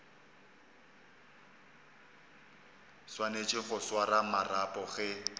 swanetše go swara marapo ge